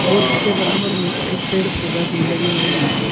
और इसके बराबर में एक पेड़ पौधा भी लगे हुए है।